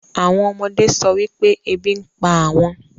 àwọn ọmọdé sọ wípé ebi ń pa àwọn